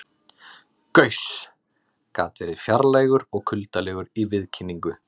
Gauss gat verið fjarlægur og kuldalegur í viðkynningu.